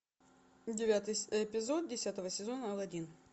девятый эпизод десятого сезона алладин